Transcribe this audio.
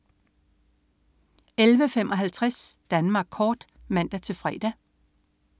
11.55 Danmark kort (man-fre)